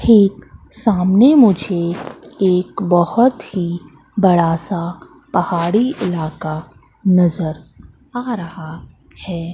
एक सामने मुझे एक बहोत ही बड़ा सा पहाड़ी इलाका नजर आ रहा है।